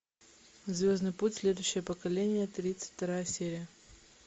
звездный путь следующее поколение тридцать вторая серия